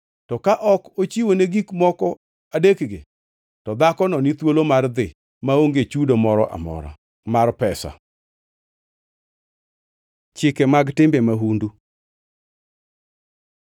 To ka ok ochiwone gik moko adekgi, to dhakono, ni thuolo mar dhi, maonge chudo moro amora mar pesa. Chike mag timbe mahundu